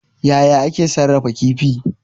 Yaya ake sarrafa kifi?